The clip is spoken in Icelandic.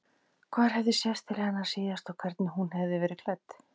Hvar hefði sést til hennar síðast og hvernig hún hefði verið klædd.